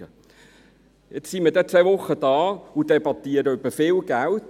Nun sind wir bald zwei Wochen hier und debattieren über viel Geld.